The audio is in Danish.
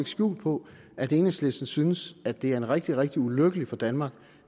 skjul på at enhedslisten synes at det er rigtig rigtig ulykkeligt for danmark